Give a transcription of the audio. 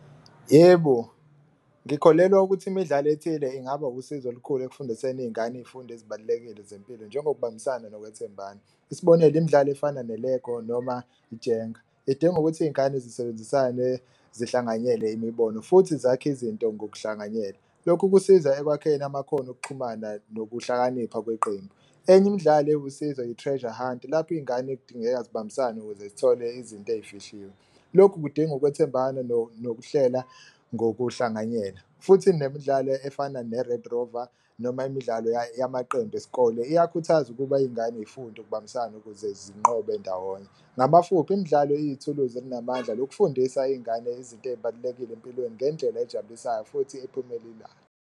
Yebo, ngikholelwa ukuthi imidlalo ethile ingaba usizo olukhulu ekufundiseni iy'ngane iy'fundo ezibalulekile zempilo njengokubambisana ngokwethembana, isibonelo imidlalo efana ne-lego noma ijenga. Idinga ukuthi iy'ngane zisebenzisane zihlanganyele imibono futhi zakhe izinto ngokuhlanganyela, lokhu kusiza ekwakheni amakhono okuxhumana nokuhlakanipha kweqembu. Enye imidlalo ewusizo i-treasure hunt lapho iy'ngane kudingeka zibambisane ukuze zithole izinto eyifihliwe, lokhu kudinga ukwethembana nokuhlela ngokuhlanganyela. Futhi nemidlalo efana ne-red rover noma imidlalo yamaqembu esikole iyawukhuthaza ukuba ingane y'funde ukubambisana ukuze zibanqobe ndawonye. Ngamafuphi imidlalo iyithuluzi elinamandla lokufundisa iy'ngane izinto ey'balulekile empilweni ngendlela ejabulisayo futhi ephumelelayo.